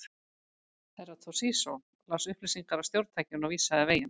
Herra Toshizo las upplýsingar af stjórntækinu og vísaði veginn.